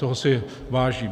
Toho si vážím.